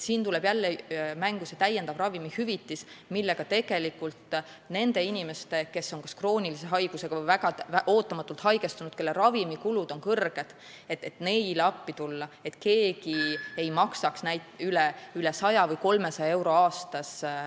Siin tuleb jälle mängu see täiendav ravimihüvitis, millega saab appi tulla nendele inimestele, kellel on kas krooniline haigus või kes on väga ootamatult haigestunud ja kelle ravimikulud on suured, selleks et keegi ei maksaks retseptiravimite eest üle 100 või 300 euro aastas.